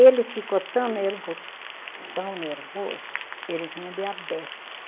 Ele ficou tão nervo, tão nervoso, ele tinha diabete.